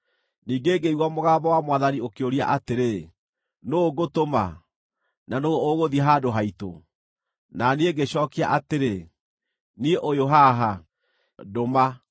Ningĩ ngĩigua mũgambo wa Mwathani ũkĩũria atĩrĩ, “Nũũ ngũtũma? Na nũũ ũgũthiĩ handũ haitũ?” Na niĩ ngĩcookia atĩrĩ, “Niĩ ũyũ haha. Ndũma!”